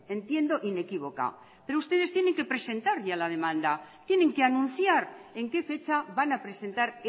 entiendo inequívoca pero ustedes tienen que presentar ya la demanda tienen que anunciar en que fecha van a presentar